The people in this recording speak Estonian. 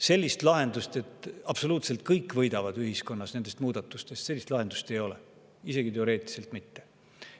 Sellist lahendust, et absoluutselt kõik ühiskonnas nendest muudatustest võidavad, ei ole, isegi teoreetiliselt mitte.